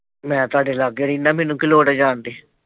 ਮੈਂ ਤੁਹਾਡੇ ਲਾਗੇ ਰਹਿਣਾ ਹਾਂ ਮੈਨੂੰ ਕੀ ਲੋੜ ਹੈ ਜਾਣ ਦੀ।